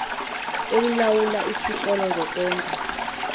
elilawula isikolo zokukwenza